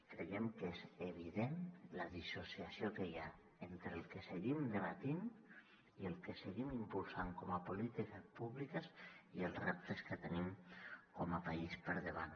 creiem que és evident la dissociació que hi ha entre el que seguim debatent i el que seguim impulsant com a polítiques públiques i els reptes que tenim com a país per davant